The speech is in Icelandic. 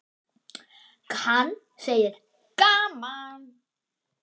Hann: Gaman.